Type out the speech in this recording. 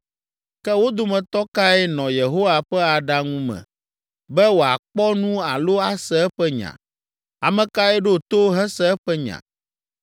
Ke wo dometɔ kae nɔ Yehowa ƒe aɖaŋu me be wòakpɔ nu alo ase eƒe nya? Ame kae ɖo to hese eƒe nya?